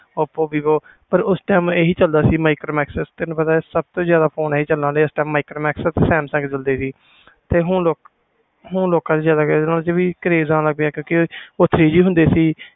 ooppo vivo ਉਸ time ਏ ਹੀ ਚਲਦੇ ਸੀ micromax ਤੈਨੂੰ ਪਤਾ ਸਨ ਤੋਂ ਜਿਆਦਾ ਫੋਨ ਇਹੀ ਚਲਦੇ ਸੀ micromax samsung ਉਹ ਲੋਕਾਂ ਵਿਚ ਜਿਆਦਾ craze ਆਂ ਲੱਗ ਗਿਆ